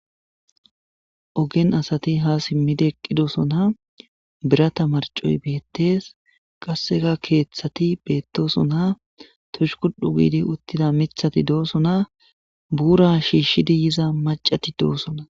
Ogen asati ha si.idi eqidosona birata marccoy bettes qasi kethati bettes tushkudhu gidi utida mithati dosona bura shishza maccati dosona.